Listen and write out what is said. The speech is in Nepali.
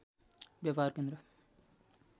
व्यापार केन्द्र